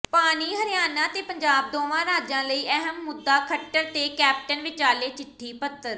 ਪਾਣੀ ਹਰਿਆਣਾ ਤੇ ਪੰਜਾਬ ਦੋਵਾਂ ਰਾਜਾਂ ਲਈ ਅਹਿਮ ਮੁੱਦਾ ਖੱਟਰ ਤੇ ਕੈਪਟਨ ਵਿਚਾਲੇ ਚਿੱਠੀ ਪੱਤਰ